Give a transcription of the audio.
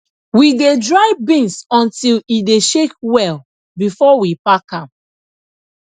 we dey dry beans until e dey shake well before we pack am